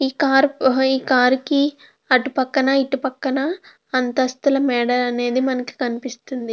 ఈ కార్ కి అటు పక్కన ఇటు పక్కన అంతస్థుల మెడ అనేది కనిపిస్తుంది.